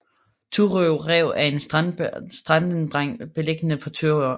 Thurø Rev er en strandeng beliggende på Thurø